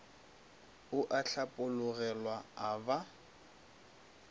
ao a hlapologelwa a ba